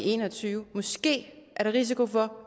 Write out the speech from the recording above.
en og tyve måske er der risiko for at